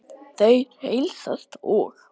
Þeir heilsast og